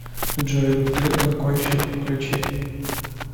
джой бутырка кольщик включи